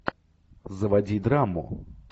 заводи драму